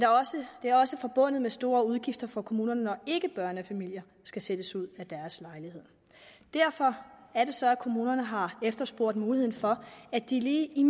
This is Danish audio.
det er også forbundet med store udgifter for kommunerne når ikkebørnefamilier skal sættes ud af deres lejlighed derfor er det så at kommunerne har efterspurgt muligheden for at de i